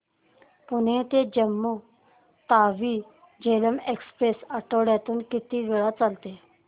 पुणे ते जम्मू तावी झेलम एक्स्प्रेस आठवड्यातून किती वेळा चालते